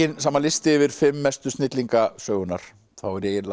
saman listi yfir fimm mestu snillinga sögunnar er ég eiginlega